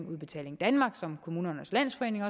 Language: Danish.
udbetaling danmark og som kommunernes landsforening